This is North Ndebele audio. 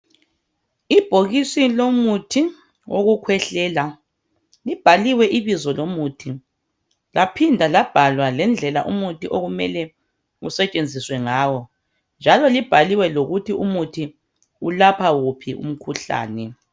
Ibhokisi lomuthi wokukhwehlela libhaliwe ibizo lomuthi laphinda labhalwa lendlela umuthi okumele usentshenziswe ngawo njalo libhaliwe ukuthi umuthi ulapha wuphi umkhuhlane.